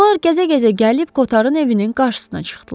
Onlar gəzə-gəzə gəlib Koterin evinin qarşısına çıxdılar.